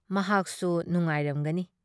ꯃꯍꯥꯛꯁꯨ ꯅꯨꯉꯥꯏꯔꯝꯒꯅꯤ ꯫